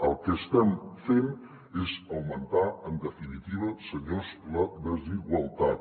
el que estem fent és augmentar en definitiva senyors la desigualtat